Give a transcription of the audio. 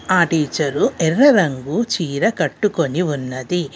ఆ టీచరు ఎర్ర రంగు చీర కట్టుకొని ఉన్నది.